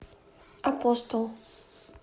апостол